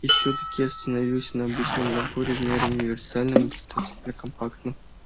и всё-таки я остановился на обычном наборе в меру универсальном и достаточно компактном